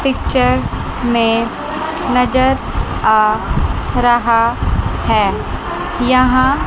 picture में नजर आ रहा है यहां--